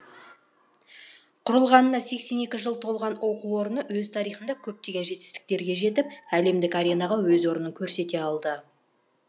құрылғанына сексен екі жыл толған оқу орны өз тарихында көптеген жетістіктерге жетіп әлемдік аренаға өз орнын көрсете алды